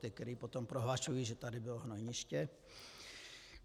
Ty, kteří potom prohlašují, že tady bylo hnojniště.